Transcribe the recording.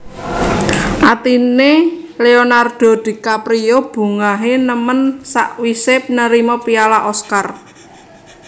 Atine Leonardo DiCaprio bungahe nemen sakwise nerima piala Oscar